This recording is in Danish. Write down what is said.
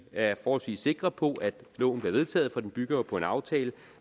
er forholdsvis sikre på at loven bliver vedtaget for den bygger jo på en aftale